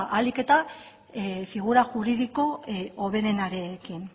ba ahalik eta figura juridiko hoberenarekin